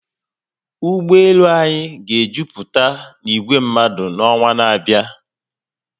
Ụgbọelu anyị ga ejuputa na igwe mmadu n'ọnwa n'abịa